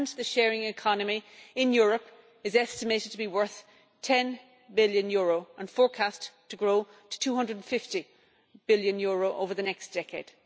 The sharing economy in Europe is estimated to be worth EUR 10 billion, and forecast to grow to EUR 250 billion over the next decade.